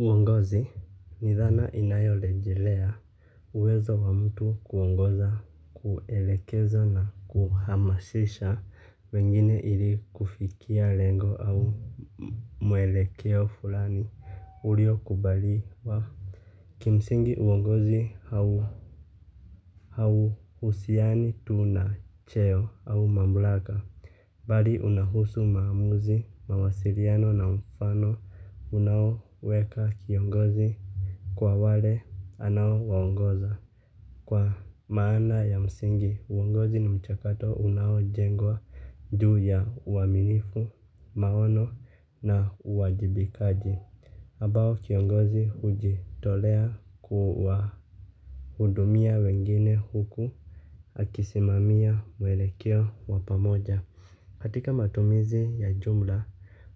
Ngazi ni dhana inayorejelea uwezo wa mtu kuongoza kuelekeza na kuhamasisha wengine ili kufikia lengo au mwelekeo fulani ulio kubaliwa. Kimsingi uongozi hau hau husiani tu nacheo au mamlaka. Bali unahusu maamuzi mawasiliano na mfano unaoweka kiongozi. Kwa wale, anao wongoza. Kwa maana ya msingi, uongozi ni mchakato unao jengwa juu ya uaminifu, maono na uwajibikaji. Ambao kiongozi hujitolea kuwahudumia wengine huku. Akisimamia mwelekeo wa pamoja. Katika matumizi ya jumla,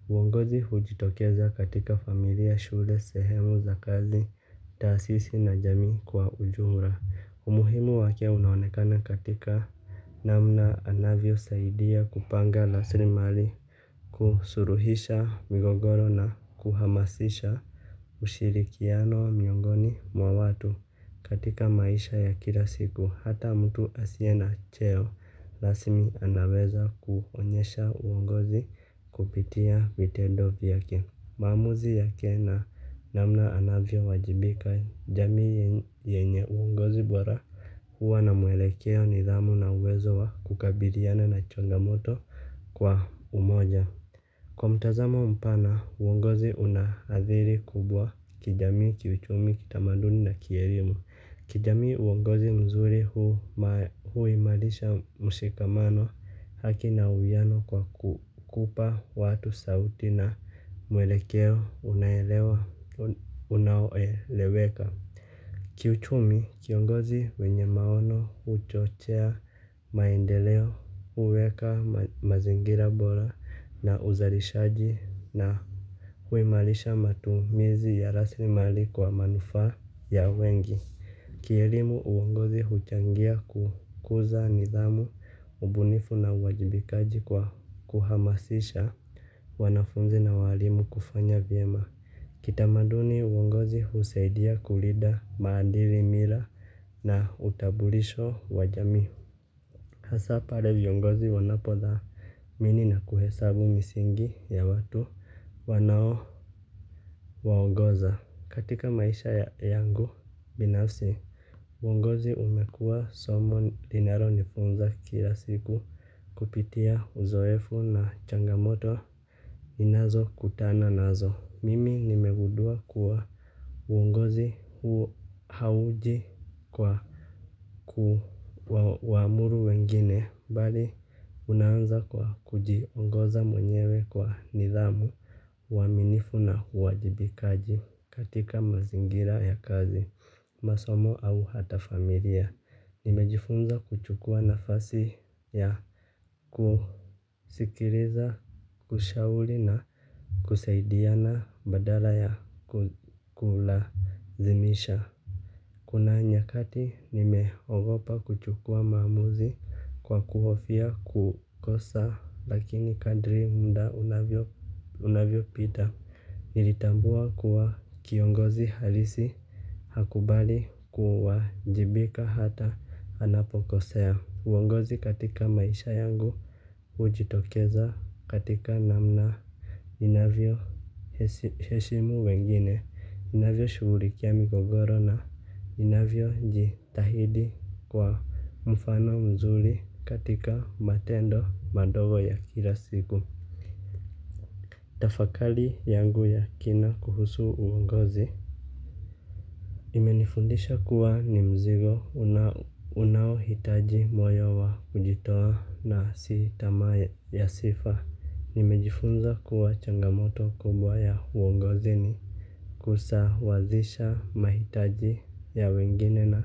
uongozi hujitokeza katika familia shule sehemu za kazi, taasisi na jamii kwa ujumla. Umuhimu wake unaonekana katika namna anavyosaidia kupanga raslimali kusuluhisha migogoro na kuhamasisha ushirikiano miongoni mwawatu katika maisha ya kila siku. Hata mtu asiye na cheo rasmi anaweza kuonyesha uongozi kupitia vitendo vyake. Maamuzi yake na namna anavyowajibika jamii yenye uongozi bora. Huwa na mwelekeo nidhamu na uwezo wa kukabiliana na changamoto kwa umoja. Kwa mtazamo mpana uongozi unaadhiri kubwa kijamii kiuchumi kitamaduni na kielimu. Kijamii uongozi mzuri huimarisha mshikamano haki na uiano kwa kupa watu sauti na mwelekeo unaoeleweka. Kiuchumi kiongozi wenye maono huchochea maendeleo huweka mazingira bora na uzalishaji na huimarisha matumizi ya raslimali kwa manufaa ya wengi. Kielimu uongozi huchangia kukuza nidhamu ubunifu na uwajibikaji kwa kuhamasisha wanafunzi na walimu kufanya vyema. Kitamaduni uongozi husaidia kulinda maadili mila na utambulisho wa jamii. Hasaa pale viongozi wanapodha nini na kuhesabu misingi ya watu wanao huwa ongoza. Katika maisha yangu binafsi. Uongozi umekua somo linalo nifunza kila siku kupitia uzoefu na changamoto ninazo kutana nazo, mimi nimegundua kuwa uongozi huo hauji kwa kuwaamuru wengine, bali unaanza kwa kujiongoza mwenyewe kwa nidhamu uaminifu na uwajibikaji katika mazingira ya kazi masomo au hata familia nimejifunza kuchukua nafasi ya kusikiliza kushauri na kusaidiana badala ya kulazimisha. Kuna nyakati nimeogopa kuchukua maamuzi kwa kuhofia kukosa lakini kadri muda unavyo pita. Nilitambua kuwa kiongozi halisi. Hakubali kuajibika hata anapokosea. Uongozi katika maisha yangu hujitokeza katika namna inavyo heshimu wengine ninavyo shugulikia migogoro na ninavyo jitahidi kuwa mfano mzuri katika matendo madogo ya kila siku. Tafakari yangu ya kina kuhusu uongozi imenifundisha kuwa ni mzigo unaohitaji moyo wa kujitoa na si tamaa ya sifa. Nimejifunza kuwa changamoto kubwa ya uongozi ni kusawazisha mahitaji ya wengine na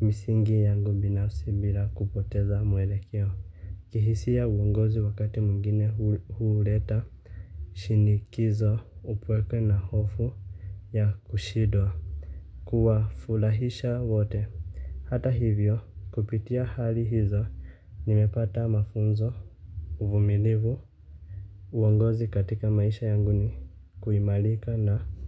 misingi yangu binafsi bila kupoteza mwelekeo. Kihisia uongozi wakati mwingine huuleta shinikizo upweke na hofu ya kushindwa. Kuwa furahisha wote. Hata hivyo kupitia hali hizo nimepata mafunzo uvumilivu. Uongozi katika maisha yangu ni kuimarika na.